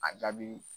A jaabi